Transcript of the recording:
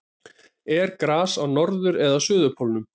er gras á norður eða suðurpólnum